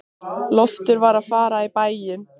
Loftur var að fara í bæinn.